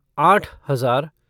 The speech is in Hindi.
आठ हज़ार